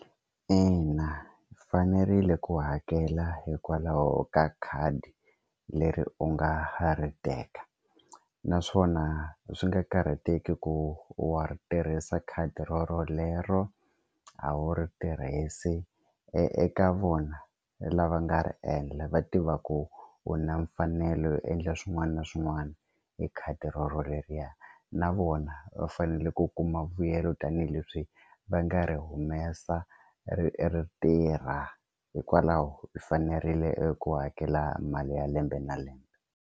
Ina u fanerile ku hakela hikwalaho ka khadi leri u nga ha ri teka naswona swi nga karhateki ku wa ri tirhisa khadi rorolero a wu ri tirhise eka vona lava nga ri endla va tiva ku u na mfanelo yo endla swin'wana na swin'wana hi khadi rero leriya na vona va fanele ku kuma vuyelo tanihileswi va nga ri humesa ri tirha hikwalaho i fanerile ku hakela mali ya lembe na lembe.